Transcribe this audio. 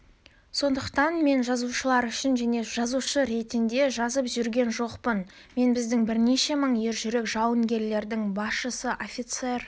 сондықтан мен жазушылар үшін және жазушы ретінде жазып жүрген жоқпын мен біздің бірнеше мың ержүрек жауынгерлердің басшысы офицер